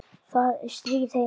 Það er stríð heima.